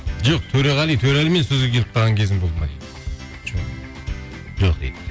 жоқ төреғали төрәлімен сөзге келіп қалған кезің болды ма дейді жоқ жоқ дейді